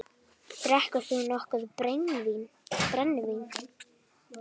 Drekkur þú nokkuð brennivín?